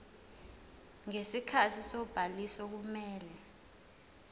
ngesikhathi sobhaliso kumele